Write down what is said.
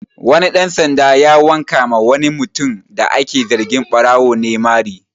Wani ɗan sanda ya wanka ma wani mutum da ake zargi ɓarawo ne mari